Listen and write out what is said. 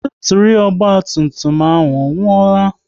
Batiri ọgba tum tum ọ nwuola?